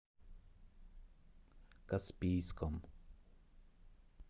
каспийском